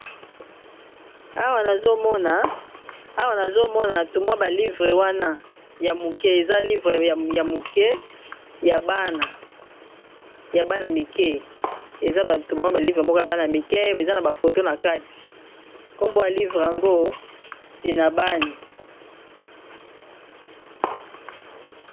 awa nazomona to mwa balivre wana ya moke eza livre ya moke ya bana mike eza bato ba mwa balivre moko ya bana mike eza na bafoto na kati nkombo alivre ango sinabane